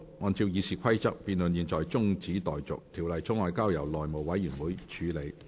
按照《議事規則》，辯論中止待續，條例草案交由內務委員會處理。